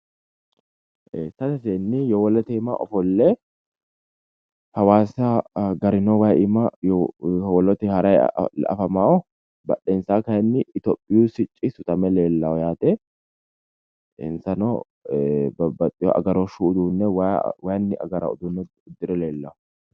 ee sase seenni yowolote aana ofolle hawaasa garino wayi iima yowolote harayi afamaa badhensaanni kayiinni itiyopiyu sicci sutame leellaa yaate insano babaxewo agarooshshu uduunne wayinni agarawo uduunne uddire leellawo.